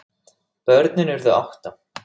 Börnin urðu átta.